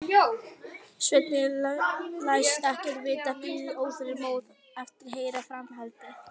Svenni læst ekkert vita, bíður óþolinmóður eftir að heyra framhaldið.